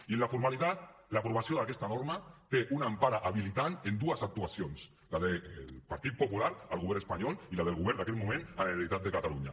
i en la formalitat l’aprovació d’aquesta norma té una empara habilitant en dues actuacions la del partit popular al govern espanyol i la del govern d’aquell moment a la generalitat de catalunya